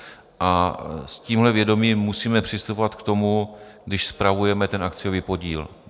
A s tímhle vědomím musíme přistupovat k tomu, když spravujeme ten akciový podíl.